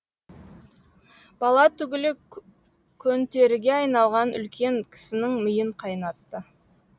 бала түгілі көнтеріге айналған үлкен кісінің миын қайнатты